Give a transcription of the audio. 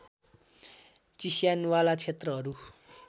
चिस्यान वाला क्षेत्रहरू